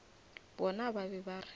bona ba be ba re